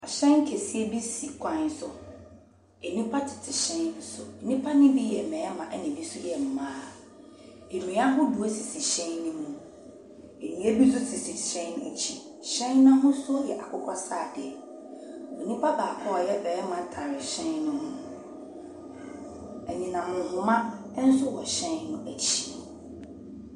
Hyɛn kɛseɛ bi si kwan so. Nnipa tete hyɛn no so. Nnipa no bi yɛ mmarima, ɛnna ebi nso yɛ mmaa. Nnua ahodoɔ sisi hyɛn no mu, nnua bi nso sisi hyɛn no akyi. Hyɛn no ahosuo yɛ akokɔ sradeɛ. Nipa baako a ɔyɛ barima tare hyɛn no ho. Anyinam nhoma nso wɔ hyɛn no akyi.